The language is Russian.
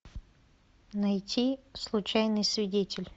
найти случайный свидетель